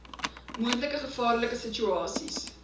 moontlike gevaarlike situasies